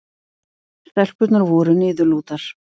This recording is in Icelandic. Stelpurnar voru niðurlútar.